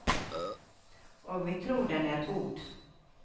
Og vi tror den er god.